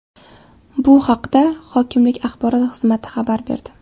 Bu haqda hokimlik axborot xizmati xabar berdi .